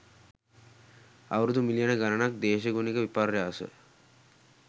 අවුරුදු මිලියන ගණනක දේශගුණික විපර්යාස